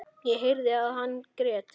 Ég heyrði að hann grét.